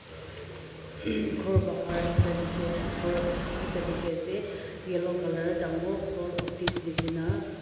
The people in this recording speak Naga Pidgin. hmm ghor bahar ekta dikey ase ghor ekta dikey ase yellow colour dangor ghor office nishi na.